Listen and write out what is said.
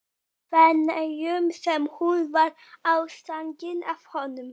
Feneyjum sem hún varð ástfangin af honum.